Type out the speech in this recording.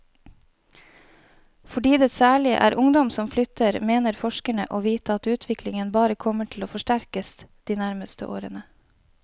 Fordi det særlig er ungdom som flytter, mener forskerne å vite at utviklingen bare kommer til å forsterkes de nærmeste årene.